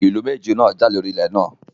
Ìlú méjèèjì náà jà lóri ilé náà